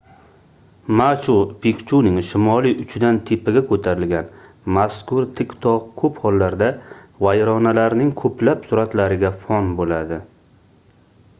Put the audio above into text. machu-pikchuning shimoliy uchidan tepaga koʻtarilgan mazkur tik togʻ koʻp hollarda vayronalarning koʻplab suratlariga fon boʻladi